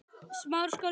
Böðvar Bragi Pálsson